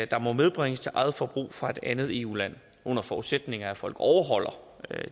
der må medbringes til eget forbrug fra et andet eu land det under forudsætning af at folk overholder